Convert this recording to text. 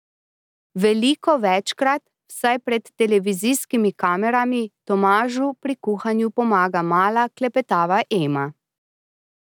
Veliko večkrat, vsaj pred televizijskimi kamerami, Tomažu pri kuhanju pomaga mala klepetava Ema.